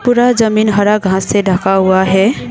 पूरा जमीन हरा घास से ढका हुआ है।